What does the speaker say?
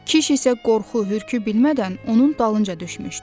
Kiş isə qorxu, hürkü bilmədən onun dalınca düşmüşdü.